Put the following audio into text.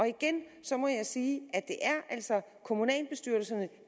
igen må jeg sige at det altså er kommunalbestyrelserne